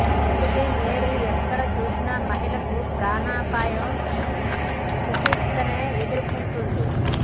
అందుకే నేడు ఎక్కడ చూసినా మహిళలకు ప్రాణాపాయ సిథతినే ఎథుర్కొంటోంది